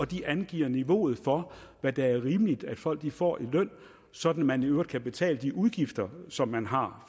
de angiver niveauet for hvad der er rimeligt at folk får i løn sådan at man i øvrigt kan betale de udgifter som man har